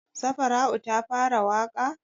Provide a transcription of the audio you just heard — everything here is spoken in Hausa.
Safara'u ta fara waƙa?